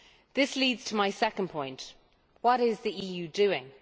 This leads to my second point what is the EU doing?